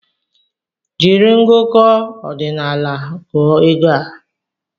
Jiri ngụkọ ọdinaala gụọ ego a!